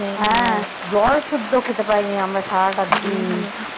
নাই হ্যাঁ জল শুদ্দো খেতে পারিনি আমরা সারাটা দিন।